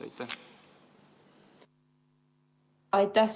Aitäh!